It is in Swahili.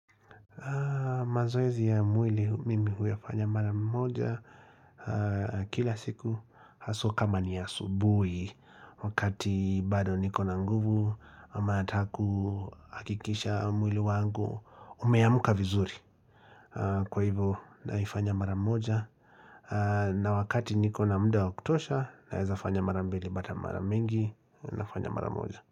Mazoezi ya mwili mimi huyafanya mara mmoja kila siku haswa kama ni ya asubuhi wakati bado niko na nguvu ama nataka hakikisha mwili wangu umeamka vizuri. Kwa hivo naifanya mara moja na wakati niko na muda wa kutosha naweza fanya mara mbili ama mingi nafanya mara mmoja.